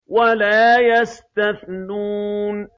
وَلَا يَسْتَثْنُونَ